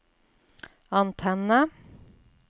antenne